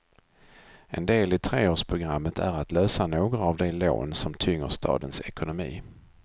En del i treårsprogrammet är att lösa några av de lån som tynger stadens ekonomi.